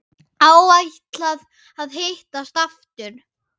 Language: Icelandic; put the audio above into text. Áætlað að hittast aftur?